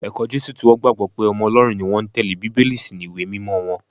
Ẹ̀kọ́ Jésù tí wọ́n gbàgbọ́ pé ọmọ Ọlọ́run ni wọ́n ń tẹ́lé Bíbélì sì ni ìwé mímọ wọn